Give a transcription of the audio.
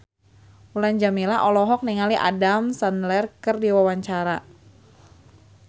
Mulan Jameela olohok ningali Adam Sandler keur diwawancara